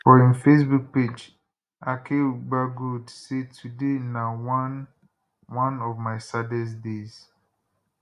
for im facebook page akeugbagold say today na one one of my saddest days